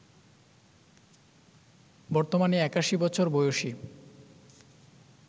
বর্তমানে ৮১ বছর বয়সী